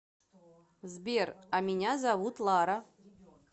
сбер а меня зовут лара